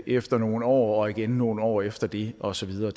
efter nogle år og igen nogle år efter det og så videre